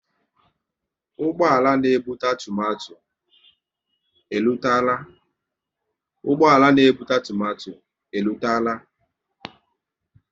Ụgbọala na ebute tomato e rutela?